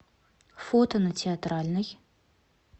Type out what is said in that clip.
фото на театральной